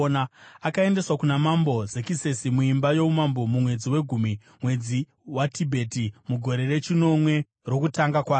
Akaendeswa kuna Mambo Zekisesi muimba youmambo mumwedzi wegumi, mwedzi waTibheti, mugore rechinomwe rokutonga kwake.